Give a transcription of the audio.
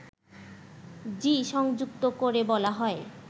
জী সংযুক্ত করে বলা হয়